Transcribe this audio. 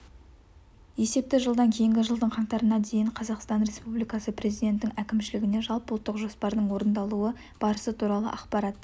есепті жылдан кейінгі жылдың қаңтарына дейін қазақстан республикасы президентінің әкімшілігіне жалпыұлттық жоспардың орындалу барысы туралы ақпарат